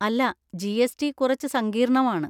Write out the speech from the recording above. അല്ല, G. S. T കുറച്ച് സങ്കീർണമാണ്.